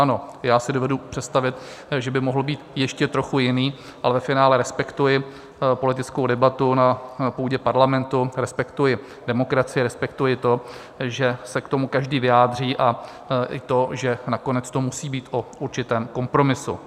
Ano, já si dovedu představit, že by mohl být ještě trochu jiný, ale ve finále respektuji politickou debatu na půdě parlamentu, respektuji demokracii a respektuji to, že se k tomu každý vyjádří, i to, že nakonec to musí být o určitém kompromisu.